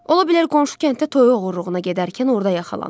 Ola bilər qonşu kənddə toy oğurluğuna gedərkən orda yaxalanıb.